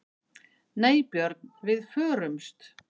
Nei Björn, við förumst.